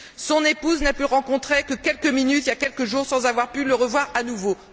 Son épouse n'a pu le rencontrer que quelques minutes il y a quelques jours, sans avoir pu le revoir à nouveau.